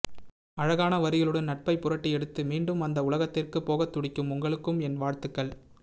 அழகான வரிகளுடன் நட்பை புரட்டி எடுத்து மீண்டும் அந்த உலகத்திற்கு போகத்துடிக்கும் உங்களுக்கும் என் வாழ்த்துக்கள்